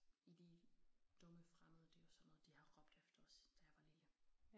I de dumme fremmede det jo sådan noget de har råbt efter os da jeg var lille